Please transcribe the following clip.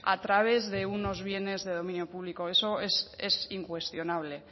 a través de unos bienes de dominio público eso es incuestionable